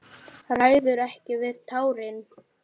Ræður ekki við tárin.